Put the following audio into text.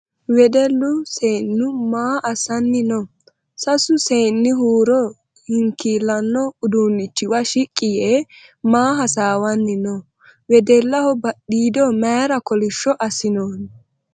Wedellu seenu maa assanni no ? Sasu seeni Huuro hinkillanno udunnichiwa shiqqi yee maa hasawanni no ? Wedellaho badhiido mayra kolishsho assinooni ?